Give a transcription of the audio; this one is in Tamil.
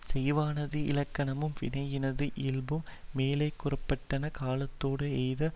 செய்வானது இலக்கணமும் வினையினது இயல்பும் மேலே கூற பட்டன காலத்தொடு எய்த